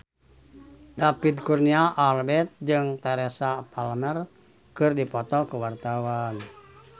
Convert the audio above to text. David Kurnia Albert jeung Teresa Palmer keur dipoto ku wartawan